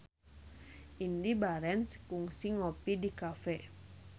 Indy Barens kungsi ngopi di cafe